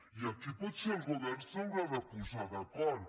i aquí potser el govern s’haurà de posar d’acord